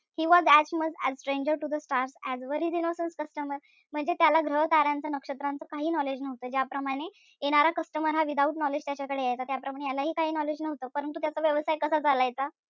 He was as much a stranger to the stars as were his innocent customers म्हणजे त्याला ग्रह-ताऱ्यांच नक्षत्रनाच काही knowledge नव्हतं. ज्याप्रमाणे येणारा customer हा without knowledge त्याच्याकडे यायचा त्याप्रमाणे यालाही काही knowledge नव्हतं. परंतु त्याचा व्यवसाय कसा चालायचा?